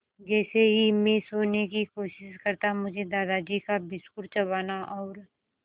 जैसे ही मैं सोने की कोशिश करता मुझे दादाजी का बिस्कुट चबाना और